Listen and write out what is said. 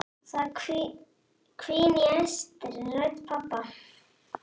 Það hvín í æstri rödd pabba.